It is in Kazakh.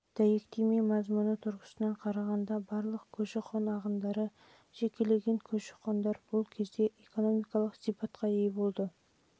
дәйектеме мазмұны тұрғысынан қарағанда барлық көші-қон ағындары және жекеленген көші-қондар бұл кезде экономикалық сипатқа ие болды